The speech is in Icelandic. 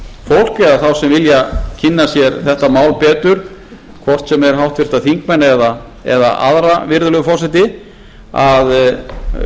áhugafólks eða þá sem vilja kynna sér þetta mál betur hvort sem er háttvirtir þingmenn eða aðra virðulegi forseti að